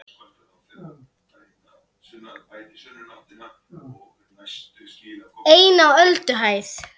EIN Á ÖLDUHÆÐ